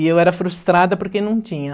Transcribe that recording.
E eu era frustrada porque não tinha.